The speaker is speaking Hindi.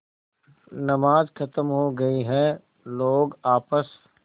नमाज खत्म हो गई है लोग आपस